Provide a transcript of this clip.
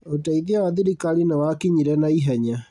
ũteithio wa thirikari nĩwakinyire naihenya